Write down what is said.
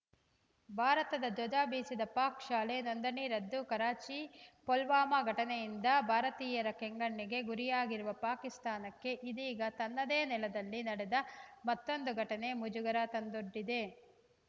ಭಾರತದ ಧ್ವಜ ಬೀಸಿದ ಪಾಕ್‌ ಶಾಲೆ ನೋಂದಣಿ ರದ್ದು ಕರಾಚಿ ಪುಲ್ವಾಮಾ ಘಟನೆಯಿಂದ ಭಾರತೀಯರ ಕೆಂಗಣ್ಣಿಗೆ ಗುರಿಯಾಗಿರುವ ಪಾಕಿಸ್ತಾನಕ್ಕೆ ಇದೀಗ ತನ್ನದೇ ನೆಲದಲ್ಲಿ ನಡೆದ ಮತ್ತೊಂದು ಘಟನೆ ಮುಜುಗರ ತಂದೊಡ್ಡಿದೆ